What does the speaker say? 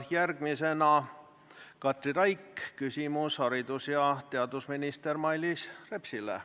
Järgmisena on Katri Raigil küsimus haridus- ja teadusminister Mailis Repsile.